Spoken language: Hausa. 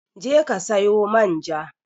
Je ki sayo man ja